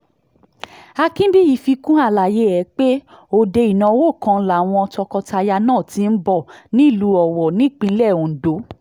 akínbíyí fi kún àlàyé ẹ̀ pé òde ìnáwó kan làwọn tọkọ-tìyàwó náà ti ń bọ̀ nílùú owó nípínlẹ̀ ondo